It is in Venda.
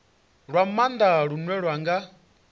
lwa maanda lune lwa nga